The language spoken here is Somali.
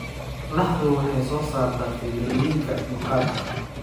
Laxdu waxay soo saartaa fiilooyinka maqaarka.